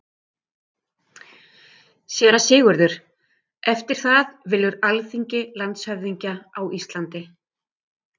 SÉRA SIGURÐUR: Eftir það velur Alþingi landshöfðingja á Íslandi.